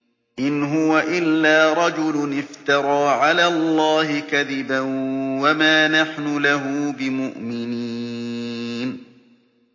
إِنْ هُوَ إِلَّا رَجُلٌ افْتَرَىٰ عَلَى اللَّهِ كَذِبًا وَمَا نَحْنُ لَهُ بِمُؤْمِنِينَ